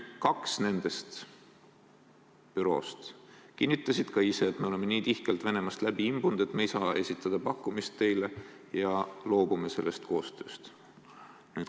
Kaks nendest büroodest kinnitasid ka ise, et me oleme nii tihkelt Venemaast läbi imbunud, et me ei saa teile pakkumist esitada ja loobume sellest koostööst.